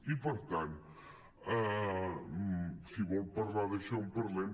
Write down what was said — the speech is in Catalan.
i per tant si vol parlar d’això en parlem